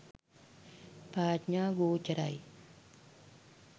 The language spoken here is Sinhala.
ප්‍රඥා ගෝචරයි